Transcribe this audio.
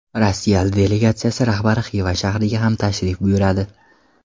Rossiya delegatsiya rahbari Xiva shahriga ham tashrif buyuradi.